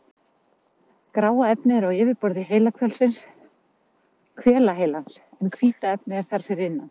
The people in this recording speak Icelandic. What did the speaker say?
Gráa efnið er á yfirborði hvelaheilans en hvíta efnið er þar fyrir innan.